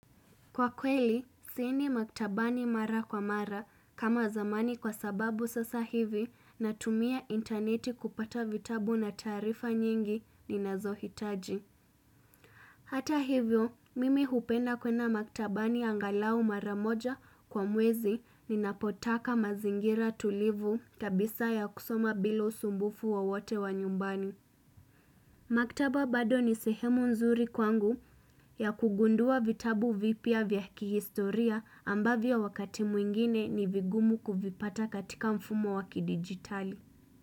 Kwa kweli, siendi maktabani mara kwa mara kama zamani kwa sababu sasa hivi na tumia interneti kupata vitabu na taarifa nyingi ni nazo hitaji. Hata hivyo, mimi hupenda kwenda maktabani angalau mara moja kwa mwezi ni napotaka mazingira tulivu kabisa ya kusoma bila usumbufu wowote wa nyumbani. Maktaba bado ni sehemu nzuri kwangu ya kugundua vitabu vipya vya kihistoria ambavyo wakati mwingine ni vigumu kuvipata katika mfumo waki digitali.